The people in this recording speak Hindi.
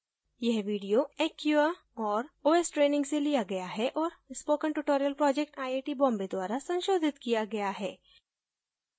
यह video acquia और os ट्रेनिंग से लिया गया है और spoken tutorial project IIT Bombay द्वारा संशोधित किया गया है